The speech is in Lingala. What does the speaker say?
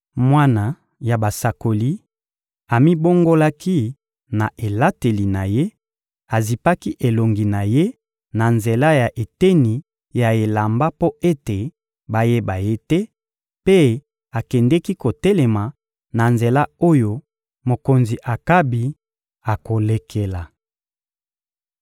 Mwana ya basakoli amibongolaki na elateli na ye, azipaki elongi na ye na nzela ya eteni ya elamba mpo ete bayeba ye te, mpe akendeki kotelema na nzela oyo mokonzi Akabi akolekela.